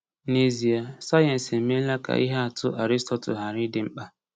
N’ezie, sayensị emeela ka ihe atụ Aristotle ghara ịdị mkpa.